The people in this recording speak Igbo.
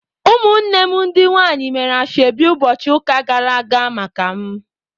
Ụmụnne m ndị nwanyị mere asheobi ụbọchị ụka gara aga maka m.